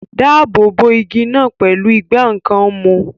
Dáàbò bo igi náà pẹ̀lú ìgbá nǹkan mú